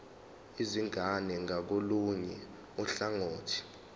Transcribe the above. izingane ngakolunye uhlangothi